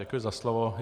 Děkuji za slovo.